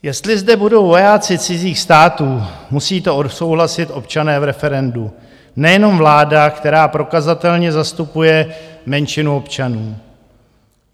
Jestli zde budou vojáci cizích států, musí to odsouhlasit občané v referendu, nejenom vláda, která prokazatelně zastupuje menšinu občanů.